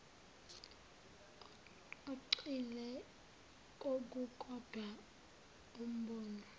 ogxile kokukodwa umbono